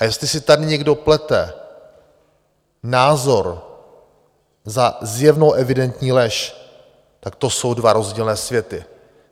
A jestli si tady někdo plete názor za zjevnou, evidentní lež, tak to jsou dva rozdílné světy.